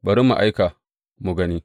Bari mu aika, mu gani.